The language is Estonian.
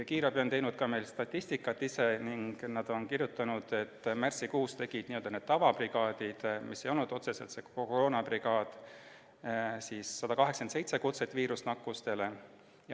Kiirabi on teinud ka statistikat ning nad on kirjutanud, et märtsikuus oli n-ö tavabrigaadidel, mis ei olnud otseselt koroonabrigaadid, viirusnakkustega seoses 187 väljakutset.